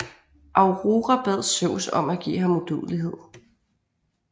Aurora bad Zeus om at give ham udødelighed